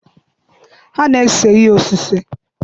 Ha na-ese ihe osise.